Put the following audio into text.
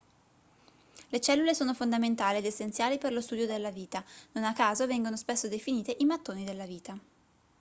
le cellule sono fondamentali ed essenziali per lo studio della vita non a caso vengono spesso definite i mattoni della vita